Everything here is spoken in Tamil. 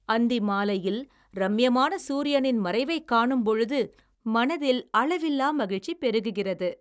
அந்தி மாலையில் ரம்யமான‌ சூரியனின் மறைவை காணும்பொழுது மனதில் அளவில்லா மகிழ்ச்சி பெருகுகிறது